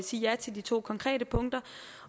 sige ja til de to konkrete punkter